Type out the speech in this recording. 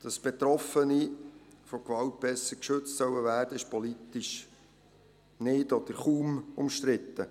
Dass Betroffene von Gewalt besser geschützt werden sollen, ist politisch nicht oder kaum umstritten.